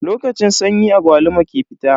Lokacin sanyi agwaluma ke fita.